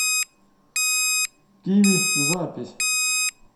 киви запись